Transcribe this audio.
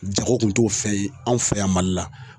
Jago kun t'o fɛn ye anw fɛ yan Mali la.